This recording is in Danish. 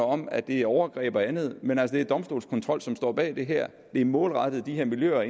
om at det er overgreb og andet men altså det er domstolskontrol som står bag det her det er målrettet de her miljøer og